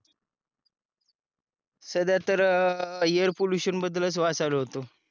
सध्या तर air pollution बद्दलच वाचायला होतो